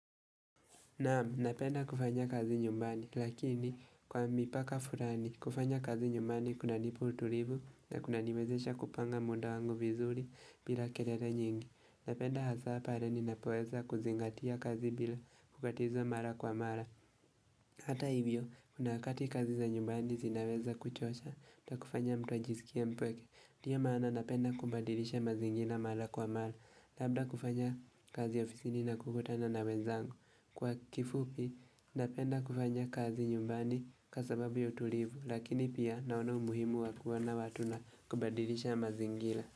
Naam, napenda kufanya kazi nyumbani, lakini kwa mipaka fulani. Kufanya kazi nyumbani kunanipa utulivu na kunaniwezesha kupanga muda wangu vizuri bila kelele nyingi. Napenda hasa pale ninapoweza kuzingatia kazi bila kukatiza mara kwa mara. Hata hivyo, kuna wakati kazi za nyumbani zinaweza kuchosha na kufanya mtu ajisikie mpweke. Ndio maana napenda kubadilisha mazingira mara kwa mara, labda kufanya kazi ofisini na kukutana na wenzangu. Kwa kifupi napenda kufanya kazi nyumbani kwa sababu ya utulivu, lakini pia naona umuhimu wa kuwa na watu na kubadilisha mazingira.